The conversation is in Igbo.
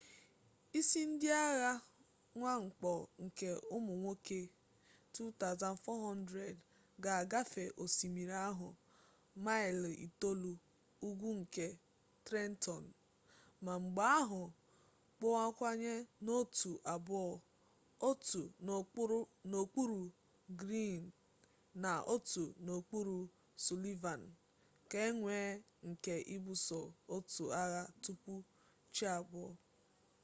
isi ndị agha mwakpo nke ụmụ nwoke 2,400 ga-agafe osimiri ahụ maịlị itoolu ugwu nke trenton ma mgbe ahụ kpọwanye n'otu abụọ otu n'okpuru greene na otu n'okpuru sullivan ka e nwee ike ibuso otu agha tupu chi abọọ